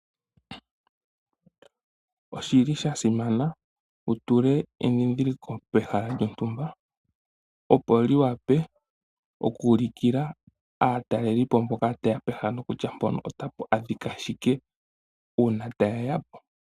Oshili sha simana wutule endhindhiliko pehala lyontumba, opo liwape oku ulikila aatalelipo mboka tayeya po kutya pehala mpoka otapa adhika shike uuna tayeya po.